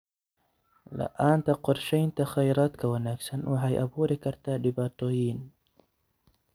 La'aanta qorshaynta kheyraadka wanaagsan waxay abuuri kartaa dhibaatooyin.